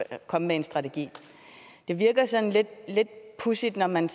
at komme med en strategi det virker sådan lidt pudsigt når man